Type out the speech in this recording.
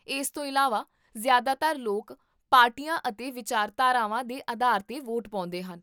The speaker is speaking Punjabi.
ਇਸ ਤੋਂ ਇਲਾਵਾ, ਜ਼ਿਆਦਾਤਰ ਲੋਕ ਪਾਰਟੀਆਂ ਅਤੇ ਵਿਚਾਰਧਾਰਾਵਾਂ ਦੇ ਆਧਾਰ 'ਤੇ ਵੋਟ ਪਾਉਂਦੇ ਹਨ